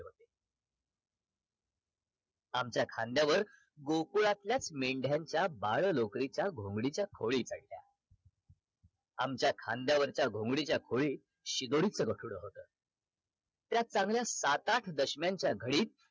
आमच्या खांद्यावर गोकुळात्यालच मेंढ्यांच्या बाळ लोकरीच्या खोळीच्या घोंगडीच्या काढल्या आमच्या खांद्यावरच्या घोंगडीच्या खोळी शिदोरीच गाठुड होत त्या चांगल्या सात आठ दश्म्यांच्या घळीत